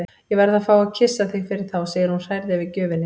Ég verð að fá að kyssa þig fyrir þá, segir hún hrærð yfir gjöfinni.